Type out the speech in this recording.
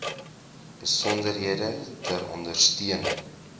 besonderhede ter ondersteuning